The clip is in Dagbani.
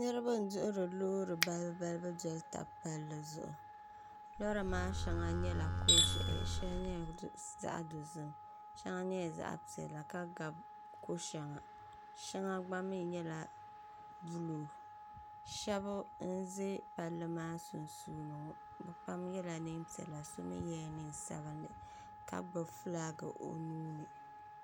niriba n-duhiri loori balibu balibu doli taba palli zuɣu lɔra maa shɛŋa nyɛla ko'ʒiɛhi shiɛli nyɛla zaɣ'dozim shɛŋa nyɛla zaɣ'piɛla ka gbabi ko'shɛŋa shɛŋa gba mii nyɛla buluu shɛba n-ze palli maa sunsuuni ŋɔbɛ pam yela neen'piɛla so mii yela neen'sabinlli ka gbubi flaaki o nuu ni